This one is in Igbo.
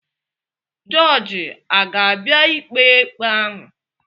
Jọọjị aga-abịa ikpe ikpe ahụ?